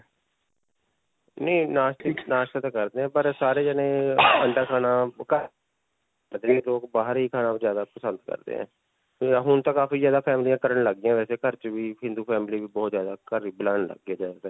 ਨਹੀਂ ਨਾਸ਼੍ਤੇ, ਨਾਸ਼੍ਤਾ ਤਾਂ ਕਰਦੇ ਹਾਂ ਪਰ ਸਾਰੇ ਜਾਣੇ ਅੰਡਾ ਖਾਣਾ. ਲੋਗ ਬਾਹਰ ਹੀ ਖਾਣਾ ਜਿਆਦਾ ਪਸੰਦ ਕਰਦੇ ਹੈ. ਹੁਣ ਤਾਂ ਕਾਫੀ ਜਿਆਦਾ ਫੈਮਲੀਆਂ ਕਰਨ ਲੱਗ ਗਿਆਂ ਵੈਸੇ ਘਰ 'ਚ ਵੀ, ਹਿੰਦੂ family ਵੀ ਬਹੁਤ ਜਿਆਦਾ ਘਰ ਹੀ ਬਣਾਉਣ ਲੱਗ ਗਏ ਨੇ ਜਿਆਦਾ ਤਰ.